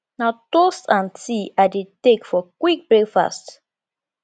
na toast and tea i dey take for quick breakfast